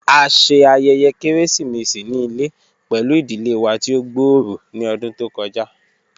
A ṣe ayẹyẹ keresimesi ni ile pẹlu idile wa ti o gbooro ni ọdun to kọja.